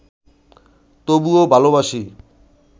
তবুও ভালবাসি